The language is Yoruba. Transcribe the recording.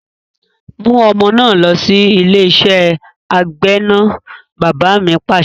"mú ọmọ náà lọ sí ilé iṣẹ́ agbẹ́nà! Bàbá mi Pàṣẹ.